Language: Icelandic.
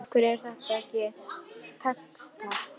Mér hefur alltaf verið meinilla við þá.